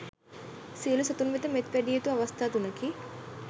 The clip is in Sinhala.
සියලු සතුන් වෙත මෙත් වැඩිය යුතු අවස්ථා තුනකි.